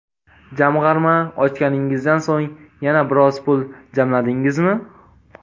Jamg‘arma ochganingizdan so‘ng yana biroz pul jamladingizmi?